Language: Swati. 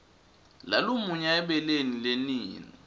lalumunya ebeleni lenina